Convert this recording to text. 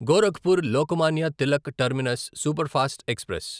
Gorakhpur Lokmanya Tilak terminus superfast express